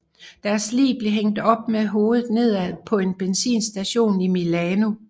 Deres lig blev hængt op med hovedet nedad på en benzinstation i Milano